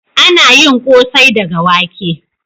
Ana yin kosai daga wake